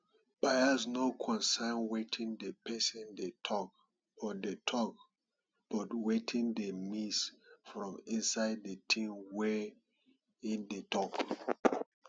bias no concern wetin di person dey talk but dey talk but wetin dey miss from inside di ting wey im dey talk